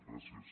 gràcies